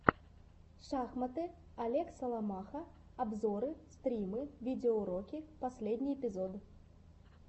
шахматы олег соломаха обзоры стримы видеоуроки последний эпизод